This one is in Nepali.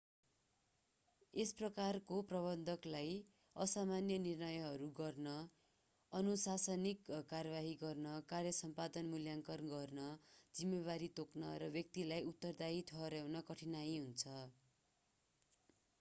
यस प्रकारको प्रबन्धकलाई असामान्य निर्णयहरू गर्न अनुशासनिक कारवाही गर्न कार्य सम्पादन मूल्याङ्कन गर्न जिम्मेवारी तोक्न र व्यक्तिलाई उत्तरदायी ठहराउन कठीनाइ हुन्छ